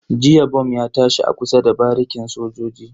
Jiya bom ya tashi a kusa da barikin sojoji.